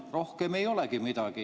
Rohkem ei olegi midagi.